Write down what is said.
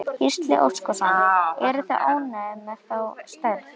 Gísli Óskarsson: Eruð þið ánægðir með þá stærð?